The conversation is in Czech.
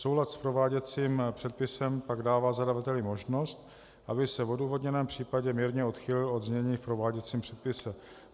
Soulad s prováděcím předpisem pak dává zadavateli možnost, aby se v odůvodněném případě mírně odchýlil od znění v prováděcím předpise.